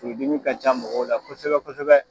Furu dimi ka ca mɔgɔw la kosɛbɛ kosɛbɛ